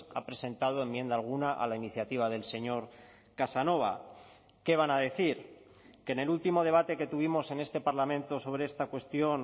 ha presentado enmienda alguna a la iniciativa del señor casanova qué van a decir que en el último debate que tuvimos en este parlamento sobre esta cuestión